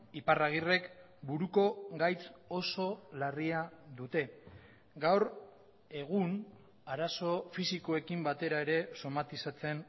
iparragirrek buruko gaitz oso larria dute gaur egun arazo fisikoekin batera ere somatizatzen